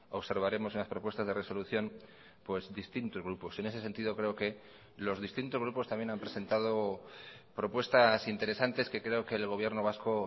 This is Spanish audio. observaremos en las propuestas de resolución distintos grupos en ese sentido creo que los distintos grupos también han presentado propuestas interesantes que creo que el gobierno vasco